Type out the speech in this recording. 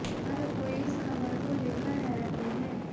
हर कोई इस खबर को लेकर हैरत में है